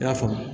I y'a faamu